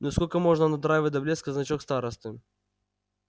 ну сколько можно надраивать до блеска значок старосты